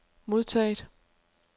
modtaget